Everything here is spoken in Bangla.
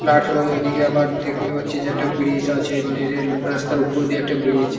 প্লাটফ্রম ঐ দিকে আবার দেখতে পারছি যে একটা ব্রিজ আছে মানে রেল রাস্তার উপর দিয়ে একটা ব্রিজ ।